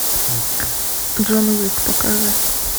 джон уик покажи